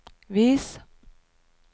vis